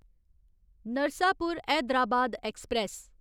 Narsapur Hyderabad express